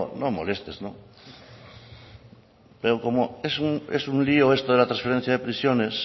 no molestes no pero como es un lio esto de la transferencia de prisiones